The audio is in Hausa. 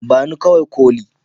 ba ni kawai koli